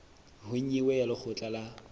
ho nyewe ya lekgotla la